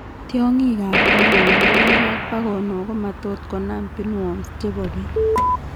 Tiong'ik ab ko kouu ngokik ak bakonok komatot konam pinworms chebo biik